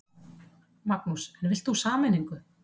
Magnús: En vilt þú sameiningu?